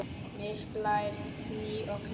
Mist, Blær, Gnýr og Gná.